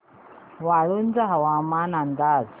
वाळूंज हवामान अंदाज